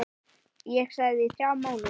Ég þagði í þrjá mánuði.